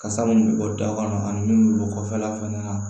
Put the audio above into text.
Kasa mun bɛ bɔ da kɔnɔ ani min bɛ bɔ kɔfɛla fana na